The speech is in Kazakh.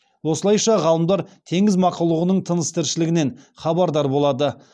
осылайша ғалымдар теңіз мақұлығының тыныс тіршілігінен хабардар болады